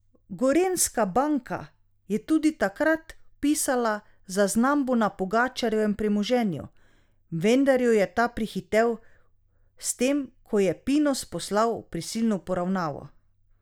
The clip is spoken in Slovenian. Gorenjska banka je tudi takrat vpisala zaznambo na Pogačarjevem premoženju, vendar jo je ta prehitel s tem, ko je Pinus poslal v prisilno poravnavo.